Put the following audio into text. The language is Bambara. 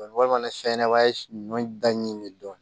Walima fɛnɲɛnamaba ye ɲɔ da ɲɛ dɔn